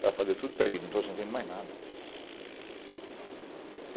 Ela falou, tudo perdido, não estou sentindo mais nada.